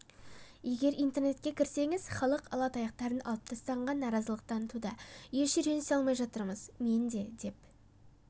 егер интернетке кірсеңіз халық алатаяқтарын алып тастағанға наразылық танытуда еш үйренісе алмай жатырмыз мен де деп